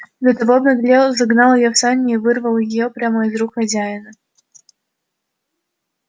и до того обнаглел загнал её в сани и вырвал её прямо из рук хозяина